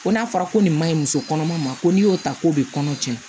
Ko n'a fɔra ko nin man ɲi muso kɔnɔma ma ko n'i y'o ta k'o bɛ kɔnɔ tiɲɛ